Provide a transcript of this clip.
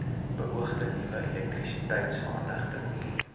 beoogde nuwe elektrisiteitsaanlegte